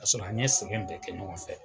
Ka sɔrɔ an ye sɛgɛn bɛɛ kɛ ɲɔgɔn fɛ.